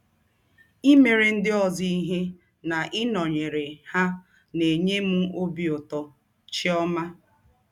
Imere ndị ọzọ ihe na ịnọnyere ha na - enye m ọbi ụtọ. ”— Chiọma.